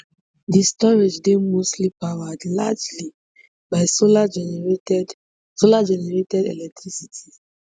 di storage dey mostly powered largely by solargenerated solargenerated electricity